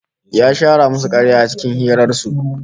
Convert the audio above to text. Ya shara musu karya a cikin hirar su